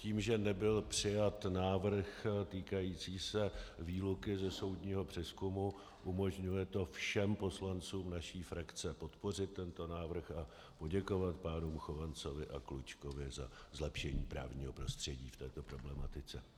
Tím, že nebyl přijat návrh týkající se výluky ze soudního přezkumu, umožňuje to všem poslancům naší frakce podpořit tento návrh a poděkovat pánům Chovancovi a Klučkovi za zlepšení právního prostředí v této problematice.